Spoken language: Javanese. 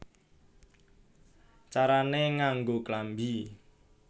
Carané Nganggo Klambi